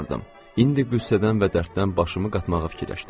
İndi qüssədən və dərddən başımı qatmağa fikirləşdim.